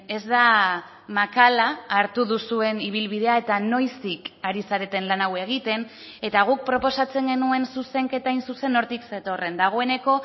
ez da makala hartu duzuen ibilbidea eta noiztik ari zareten lan hau egiten eta guk proposatzen genuen zuzenketa hain zuzen hortik zetorren dagoeneko